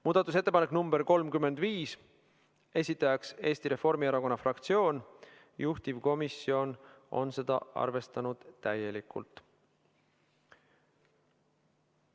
Muudatusettepanek nr 35, esitajaks on Eesti Reformierakonna fraktsioon, juhtivkomisjon on arvestanud seda täielikult.